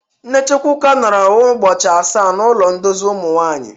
Nne Chukwuka nọrọ ụbọchị asaa n'ụlọ ndozi ụmụ nwanyị.